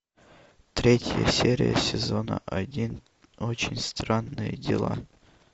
третья серия сезона один очень странные дела